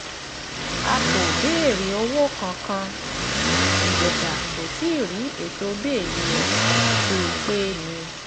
a kò béèrè owó kankan ìjèṣà kò tí ì rí ètò bẹ́ẹ́lí ẹ̀ ṣe pé pé ni